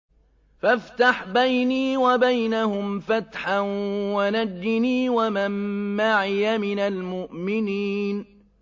فَافْتَحْ بَيْنِي وَبَيْنَهُمْ فَتْحًا وَنَجِّنِي وَمَن مَّعِيَ مِنَ الْمُؤْمِنِينَ